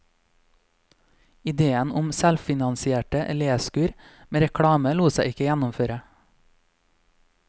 Idéen om selvfinansierte leskur med reklame lot seg ikke gjennomføre.